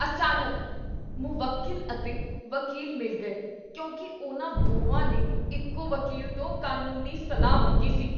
ਅਚਾਨਕ, ਮੁਵੱਕੀਲ ਅਤੇ ਵਕੀਲ ਮਿਲ ਗਏ ਕਿਉਂਕਿ ਉਨ੍ਹਾਂ ਦੋਵਾਂ ਨੇ ਇੱਕੋ ਵਕੀਲ ਤੋਂ ਕਾਨੂੰਨੀ ਸਲਾਹ ਮੰਗੀ ਸੀ।